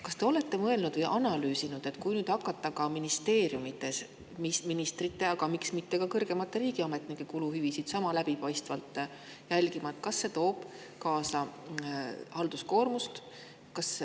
Kas te olete mõelnud ja analüüsinud, et kui nüüd hakata ministeeriumides ministrite, aga miks mitte ka kõrgemate riigiametnike kuluhüvitisi sama läbipaistvalt jälgima, kas see toob siis halduskoormust?